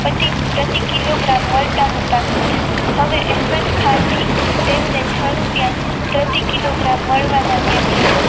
પ્રતિ કિલોગ્રામજ આપતા હતા હવે અહમદ ખાનથી તેમને છ રૂપિયા પ્રતિ કિલો ગગ્રામ મળવા લાગ્યા છે.